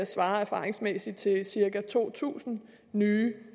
svarer erfaringsmæssigt til cirka to tusind nye